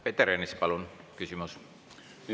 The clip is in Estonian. Peeter Ernits, palun, küsimus!